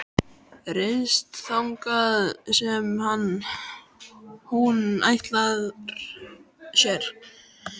Ryðst þangað sem hún ætlar sér.